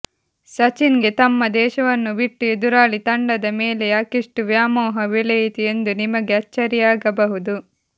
ಸಚಿನ್ ಗೆ ತಮ್ಮ ದೇಶವನ್ನು ಬಿಟ್ಟು ಎದುರಾಳಿ ತಂಡದ ಮೇಲೆ ಯಾಕಿಷ್ಟು ವ್ಯಾಮೋಹ ಬೆಳೆಯಿತು ಎಂದು ನಿಮಗೆ ಅಚ್ಚರಿಯಾಗಬಹುದು